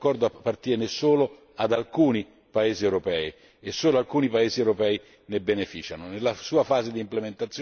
Oggi purtroppo questo accordo appartiene solo ad alcuni paesi europei e solo alcuni paesi europei ne beneficiano.